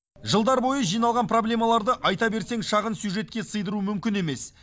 жылдар бойы жиналған проблемаларды айта берсең шағын сюжетке сыйдыру мүмкін емес